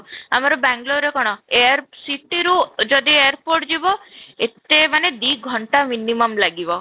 ଆମର ବାଙ୍ଗାଲୁରରେ ରେ କ'ଣ air city ରୁ ଯଦି airport ଯିବ ଏତେ ମାନେ ଦୁଇ ଘଣ୍ଟା minimum ଲାଗିବ